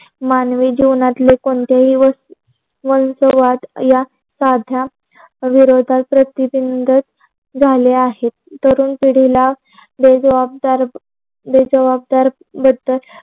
मानवी जीवनातले कोणतेही स्वभावात वीरोधात प्रती बिंध झाले आहे. तरुण पिडीला ते जबाददा ते जबाबदार जाले तर.